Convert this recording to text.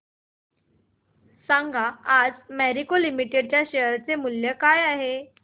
सांगा आज Marico limited च्या शेअर चे मूल्य काय आहे